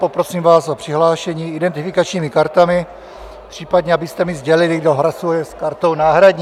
Poprosím vás o přihlášení identifikačními kartami, případně abyste mi sdělili, kdo hlasuje s kartou náhradní.